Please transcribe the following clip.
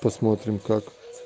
посмотрим как